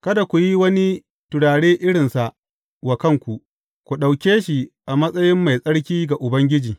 Kada ku yi wani turare irinsa wa kanku; ku ɗauke shi a matsayi mai tsarki ga Ubangiji.